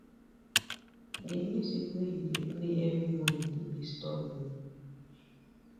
di music wey you dey play every morning dey disturb me